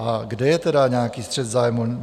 A kde je tedy nějaký střet zájmů?